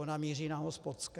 Ona míří na hospodské.